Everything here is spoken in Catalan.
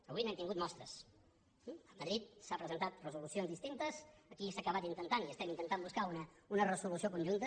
avui n’hem tingut mostres a madrid s’ha presentat resolucions distintes aquí s’ha acabat intentant i estem intentant buscar una resolució conjunta